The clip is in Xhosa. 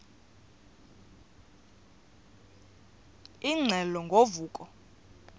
ingxelo ngo vuko